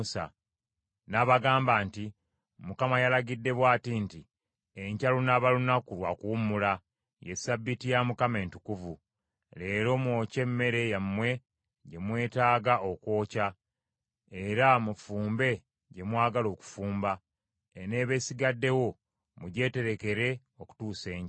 N’abagamba nti, “ Mukama yalagidde bw’ati nti, ‘Enkya lunaaba lunaku lwa kuwummula, ye Ssabbiiti ya Mukama Entukuvu. Leero mwokye emmere yammwe gye mwetaaga okwokya, era mufumbe gye mwagala okufumba; eneeba esigaddewo mugyeterekere okutuusa enkya.’ ”